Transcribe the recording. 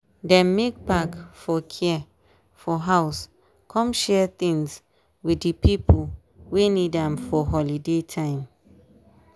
dem make pack for care for house come share things with di pipo wey need am for holiday time.